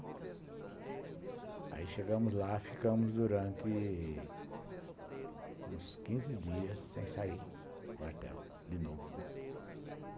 Aí chegamos lá, ficamos durante uns quinze dias sem sair do quartel, de novo, né.